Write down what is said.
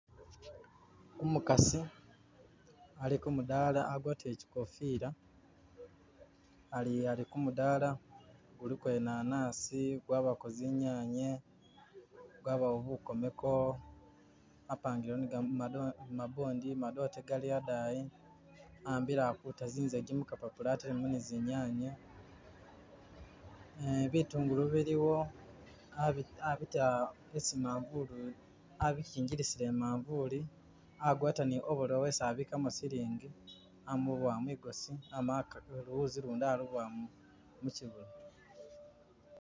Umukasi ali kumudala agwatile chikofila ali kumudala guliko inanasigwabako zinyanya gwabawo bukomeko bapangilewo ni gamabondi madote gali hadayi ahambile ali kuuta zizagi mukapapula atelemo ni zinyanya bitungulu biliwo abita esi imavulu abichingilisila imanvulu agwata ni ovorolo esi abikamo silingi amubowa migosi luwuzi ulundi alubowa muchibuno.